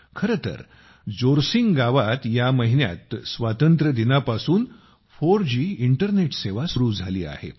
खरे तर जोरसिंग गावात या महिन्यात स्वातंत्र्यदिनाच्या दिवसापासून 4G इंटरनेट सेवा सुरू झाली आहे